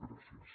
gràcies